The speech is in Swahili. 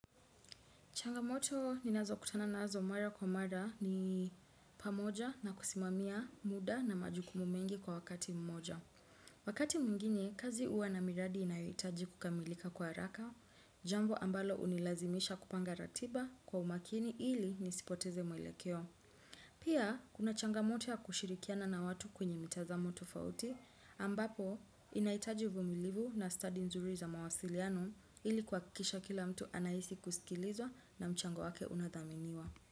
Changamoto ni nazo kutana nazo mara kwa mara ni pamoja na kusimamia muda na majukumu mengi kwa wakati mmoja. Wakati mwingine, kazi uwa na miradi inaitaji kukamilika kwa raka, jambo ambalo unilazimisha kupanga ratiba kwa umakini ili nisipoteze mwelekeo. Pia, kuna changamoto ya kushirikiana na watu kwenye mitazamo tofauti ambapo, inaitaji uvumilivu na study nzuri za mawasiliano ili kwa kikisha kila mtu anaisi kusikilizwa na mchango wake unathaminiwa.